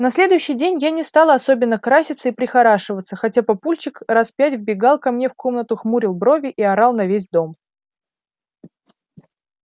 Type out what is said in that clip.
на следующий день я не стала особенно краситься и прихорашиваться хотя папульчик раз пять вбегал ко мне в комнату хмурил брови и орал на весь дом